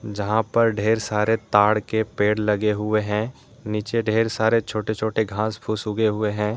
जहां पर ढेर सारे ताड़ के पेड़ लगे हुए है नीचे ढेर सारे छोटे छोटे घास फूस उगे हुए है।